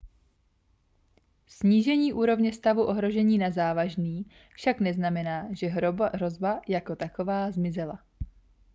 snížení úrovně stavu ohrožení na závažný však neznamená že hrozba jako taková zmizela